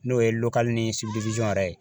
N'o ye ni yɛrɛ ye